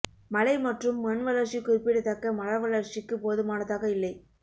மழை மற்றும் மண் வளர்ச்சி குறிப்பிடத்தக்க மர வளர்ச்சிக்கு போதுமானதாக இல்லை